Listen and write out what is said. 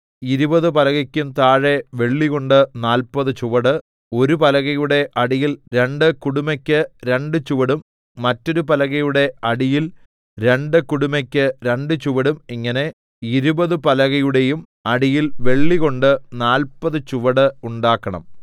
ഇരുപത് പലകയ്ക്കും താഴെ വെള്ളികൊണ്ട് നാല്പത് ചുവട് ഒരു പലകയുടെ അടിയിൽ രണ്ട് കുടുമെക്കു രണ്ട് ചുവടും മറ്റൊരു പലകയുടെ അടിയിൽ രണ്ട് കുടുമെക്കു രണ്ട് ചുവടും ഇങ്ങനെ ഇരുപത് പലകയുടെയും അടിയിൽ വെള്ളികൊണ്ട് നാല്പത് ചുവട് ഉണ്ടാക്കണം